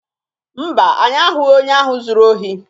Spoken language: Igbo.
Mba, anyị ahụghị onye ahụ zuru ohi